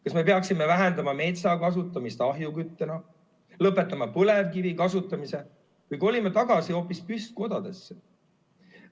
Kas me peaksime vähendama metsa kasutamist ahjukütusena, lõpetama põlevkivi kasutamise või kolime tagasi hoopis püstkodadesse?